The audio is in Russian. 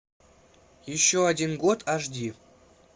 еще один год аш ди